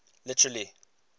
literary